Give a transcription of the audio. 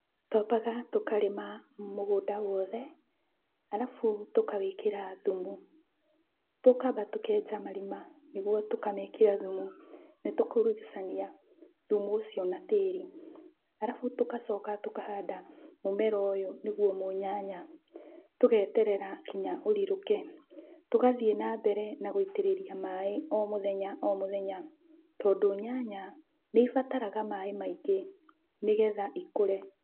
Twambaga tũkarĩma mũgũnda wothe alafu tũkawĩkĩra thumu. Tũkamba tũkenja marima nĩguo tũkamekĩra thumu na tũkaurugucania thumu ũcio na tĩrĩ. Alafu tũkacoka tũkahanda mũmera ũyũ nĩguo mũnyanya, tũgeterera kinya ũrirũke, tũgathiĩ na mere na gũitĩrĩria maĩ o mũthenya o mũthenya, tondũ nyanya nĩibataraga maĩ maingĩ nĩgetha ikũre.